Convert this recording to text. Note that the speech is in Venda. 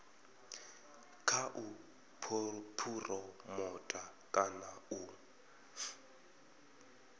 kha u phuromotha kana u